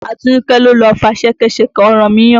Atinúkẹ́ ló lọ fa ṣẹkẹ́ṣẹkẹ̀ ọ̀rànmìyàn.